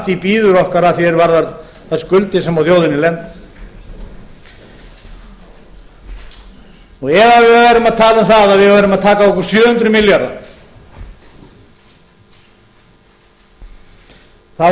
framtíð bíður okkar að því er varðar þær skuldir sem á þjóðinni lenda ef við værum að tala um að við værum að taka á okkur sjö hundruð milljarða værum við að